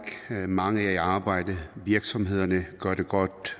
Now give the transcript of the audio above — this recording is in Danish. mange er i arbejde virksomhederne gør det godt